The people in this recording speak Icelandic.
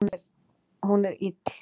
Hún er ill